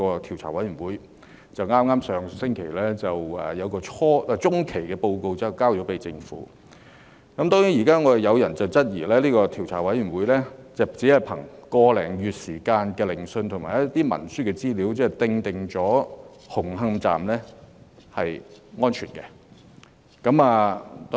調查委員會上星期向政府提交了中期報告。有人質疑這個調查委員會只憑個多月的聆訊，以及一些文書資料便確定紅磡站的結構屬安全。